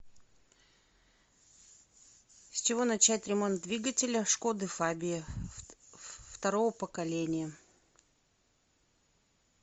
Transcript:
с чего начать ремонт двигателя шкоды фабия второго поколения